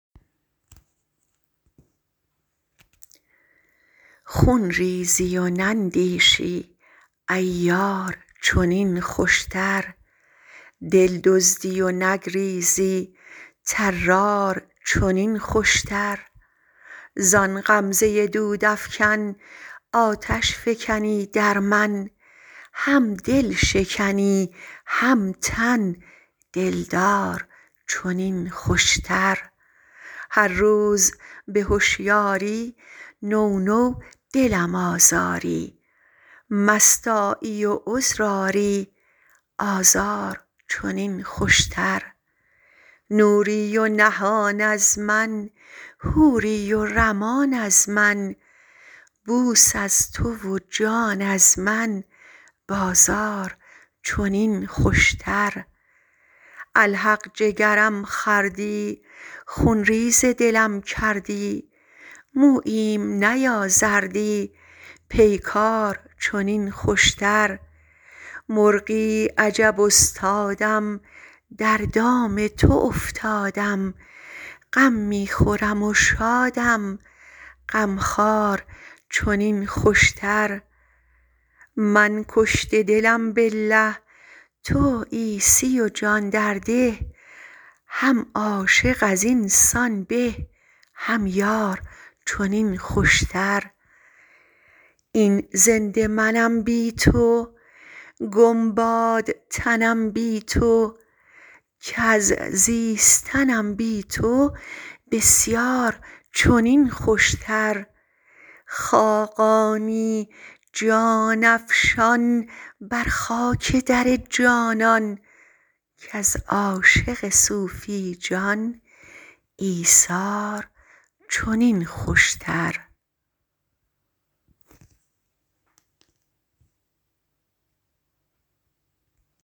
خون ریزی و نندیشی عیار چنین خوش تر دل دزدی و نگریزی طرار چنین خوشتر زان غمزه دود افکن آتش فکنی در من هم دل شکنی هم تن دل دار چنین خوش تر هر روز به هشیاری نو نو دلم آزاری مست آیی و عذر آری آزار چنین خوش تر نوری و نهان از من حوری و رمان از من بوس از تو و جان از من بازار چنین خوش تر الحق جگرم خوردی خون ریز دلم کردی موییم نیازردی پیکار چنین خوش تر مرغی عجب استادم در دام تو افتادم غم می خورم و شادم غم خوار چنین خوش تر من کشته دلم بالله تو عیسی و جان درده هم عاشق ازینسان به هم یار چنین خوش تر این زنده منم بی تو گم باد تنم بی تو کز زیستنم بی تو بسیار چنین خوش تر خاقانی جان افشان بر خاک در جانان کز عاشق صوفی جان ایثار چنین خوش تر